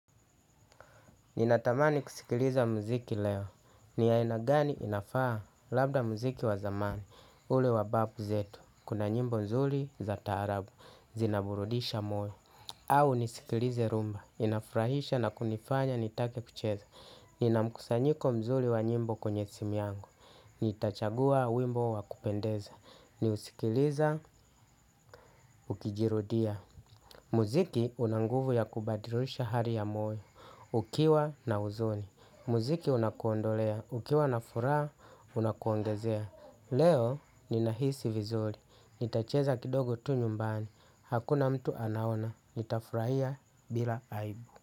Ninatamani kusikiliza mziki leo. Ni ya inagani inafaa labda mziki wazamani. Ule wababu zetu. Kuna nyimbo mzuli za tarabu. Zinaburudisha moyo au nisikilize rumba. Inafrahisha na kunifanya nitake kucheza. Ninamkusanyiko mzuli wa nyimbo kwenye simiyangu. Nitachagua wimbo wakupendeza. Ni usikiliza ukijirudia. Muziki unanguvu ya kubadilisha hari ya moyo, ukiwa na huzuni. Muziki unakuondolea, ukiwa na furaha, unakuongezea. Leo ni nahisi vizuri, nitacheza kidogo tu nyumbani, hakuna mtu anaona, nita furaia bila aibu.